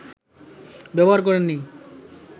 ব্যবহার করেন নি